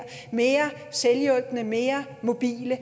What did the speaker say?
mere selvhjulpne mere mobile